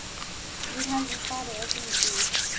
Við hefðum farið á þínum bíl.